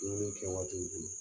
Dumuni kɛ waatiw bolo